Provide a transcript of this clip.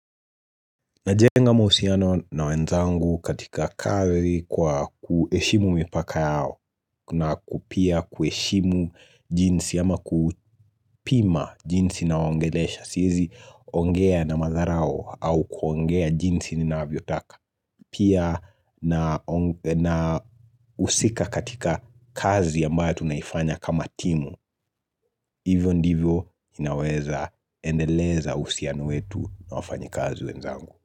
Najenga mahusiano na wenzangu katika kazi kwa kuheshimu mipaka yao na ku pia kuheshimu jinsi ama kupima jinsi nawaongelesha. Siwezi ongea na madharau au kuongea jinsi ninavyotaka. Pia nahusika katika kazi ambayo tunaifanya kama timu. Hivyo ndivyo inaweza endeleza uhusiano wetu na wafanyikazi wenzangu.